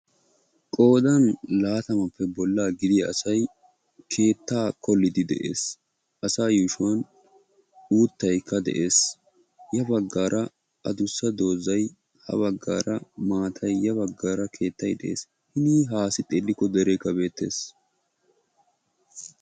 Qoodan laatamappe bolla gidiyaa asay keetta qoolide de'ees; asa yuushshuwan uuttaykka de'ees; ya baggara addussa doozay ha baggara keetay de'ees' hinii haassi xeelikko derekke beettees.